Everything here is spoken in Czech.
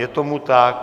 Je tomu tak.